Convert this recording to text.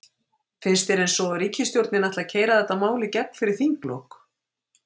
Finnst þér eins og ríkisstjórnin ætli að keyra þetta mál í gegn fyrir þinglok?